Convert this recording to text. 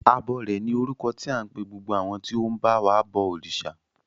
Abọrẹ̀ ni orúkọ tí à ń pe gbogbo àwọn tí ó ń ba wa bọ òrìṣà.